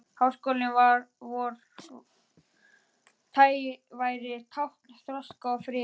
Háskóli vor væri tákn þroska og friðar.